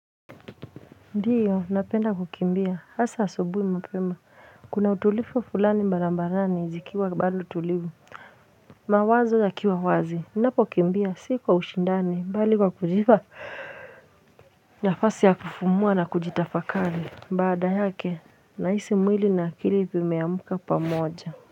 Ndiyo napenda kukimbia hasa asubuhi mapema kuna utulivu fulani barabarani zikiwa bado tulivu mawazo yakiwa wazi napokimbia si kwa ushindani mbali kwa kujipa nafasi ya kufumua na kujitafakari baada yake nahisi mwili na akili vimeamka pamoja.